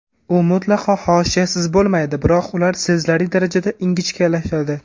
U mutlaqo hoshiyasiz bo‘lmaydi, biroq ular sezilarli darajada ingichkalashadi.